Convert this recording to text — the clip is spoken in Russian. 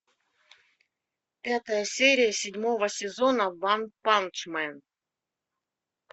пятая серия седьмого сезона ванпанчмен